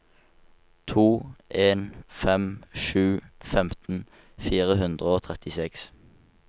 to en fem sju femten fire hundre og trettiseks